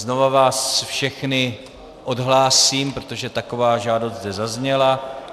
Znova vás všechny odhlásím, protože taková žádost zde zazněla.